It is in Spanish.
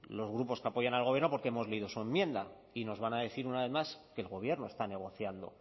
los grupos que apoyan al gobierno porque hemos leído su enmienda y nos van a decir una vez más que el gobierno está negociando